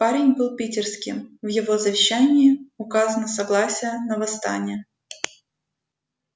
парень был питерским в его завещании указано согласие на восстание